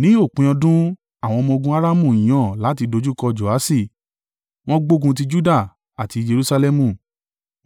Ní òpin ọdún, àwọn ọmọ-ogun Aramu yàn láti dojúkọ Joaṣi; wọ́n gbógun ti Juda àti Jerusalẹmu,